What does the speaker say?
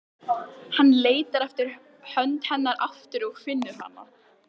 Hann leitar eftir hönd hennar aftur og finnur hana.